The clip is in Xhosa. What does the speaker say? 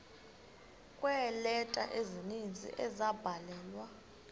kweeleta ezininzi ezabhalelwa